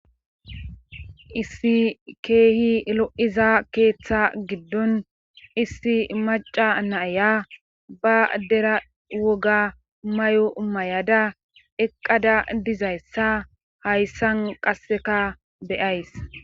issi keehi lo7iza keeththa giddon issi maca naaya ba dera woga may7o mayada eqqada dizayssa hayssan qasseka beyays